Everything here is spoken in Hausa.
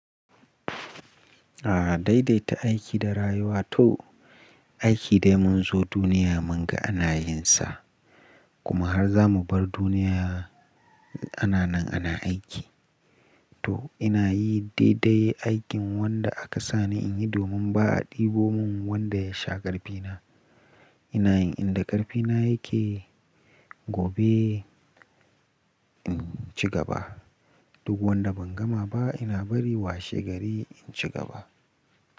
A dai dai ta aiki da rayuwa to aiki dai mun zo duniya mun ga ana yin sa kuma har za mu bar duniya ana nan ana aiki. To ina yi daidai aikin wanda aka sani in yi domin ba a ɗebo mun wanda ya sha ƙarfina. Ina yin inda ƙarfina yake gobe in ci gaba. Duk wanda ban gama ba ina bari washe gari in ci gaba.